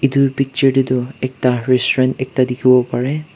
edu picture tae tu ekta restaurant ekta dikhiwo parae.